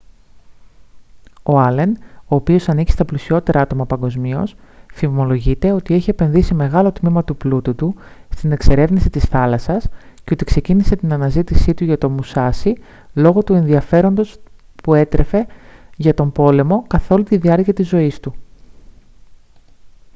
ο άλεν ο οποίος ανήκει στα πλουσιότερα άτομα παγκοσμίως φημολογείται ότι έχει επενδύσει μεγάλο τμήμα του πλούτου του στην εξερεύνηση της θάλασσας και ότι ξεκίνησε την αναζήτησή του για το μουσάσι λόγω του ενδιαφέροντος που έτρεφε για τον πόλεμο καθ' όλη τη διάρκεια της ζωής του